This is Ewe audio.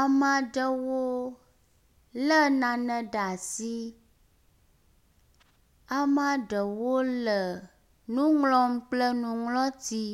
Amaɖewo le nane ɖeasi amaɖewo le nuŋlɔm kple nuŋlɔti